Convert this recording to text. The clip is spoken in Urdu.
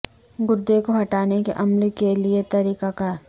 گردے کو ہٹانے کے عمل کے لئے طریقہ کار